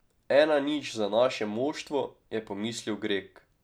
Ena nič za naše moštvo, je pomislil Greg.